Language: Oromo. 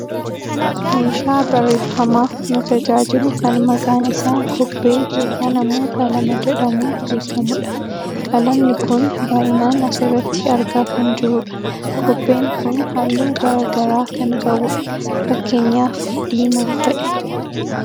Meeshaa barreeffamaaf nu tajaajilu kan maqaan isaa kobbee yookaan ammoo qalama jedhamuun beekkamudha. Qalamni kun baayyinan asirratti argaa kan jirru dha. Kobbeen kun halluu gara garaa kan qabu dha. Fakkeenyaaf diimaa fa'i.